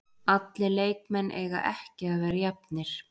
Allir leikmenn eiga ekki að vera jafnir.